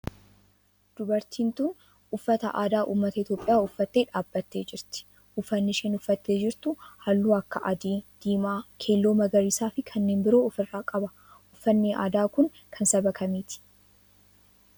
Dubartiin tun uffata aadaa ummata Itiyoophiyaa uffattee dhaabbattee jirti. Uffanni isheen uffattee jirtu halluu akka adii, diimaa, keelloo, magariisaa fi kanneen biroo of irraa qaba. uffanni aadaa kun kan saba kamiiti?